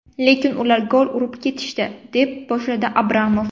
Lekin ular gol urib ketishdi”, - deb gap boshladi Abramov.